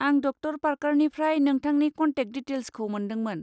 आं ड. पार्करनिफ्राय नोंथांनि कन्टेक दिटेल्सखौ मोनदोंमोन।